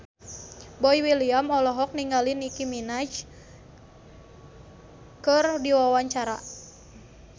Boy William olohok ningali Nicky Minaj keur diwawancara